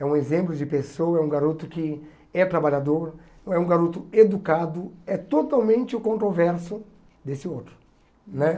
É um exemplo de pessoa, é um garoto que é trabalhador, é um garoto educado, é totalmente o controverso desse outro né.